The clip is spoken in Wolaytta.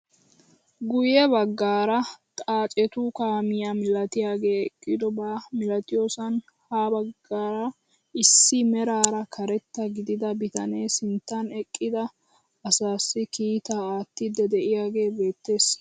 Guyye baggaara xaacetu kaamiyaa milatiyaagee eqqidoba milatiyoosan ha baggaara issi meraara karetta gidida bitanee sinttan eqqida asaassi kiitaa aattiidi de'iyaagee beettees!